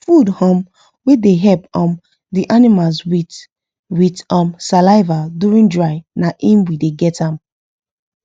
food um wa da help um the animals with with um saliva during dry na him we da get am